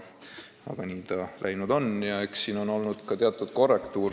Aga nii ta läinud on ja eks siin on tehtud ka teatud korrektiive.